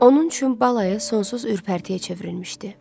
Onun üçün balayı sonsuz ürpərtiyə çevrilmişdi.